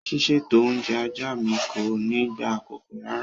Ṣíṣètò oúnjẹ ajá mi kò ní gba àkókò rárá.